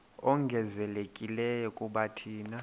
ongezelelekileyo kuba thina